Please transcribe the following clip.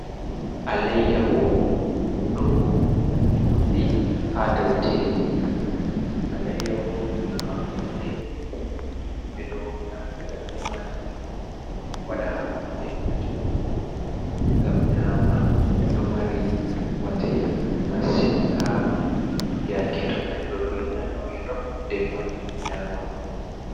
Alayyahu ɗo dupbi ha daw tebur. Alayyaho ɗum hako le ɗɗe, ɓe ɗo naftira be majum waɗa hako be majum ngam nyama. Ɗo mari bote masin ha yake to neɗɗo ɗo nana welo defa nyama.